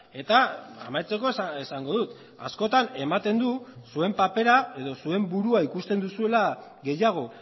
eta amaitzeko esango dut askotan ematen du zuen papera edo zuen burua ikusten duzuela gehiago